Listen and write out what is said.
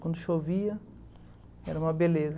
Quando chovia, era uma beleza.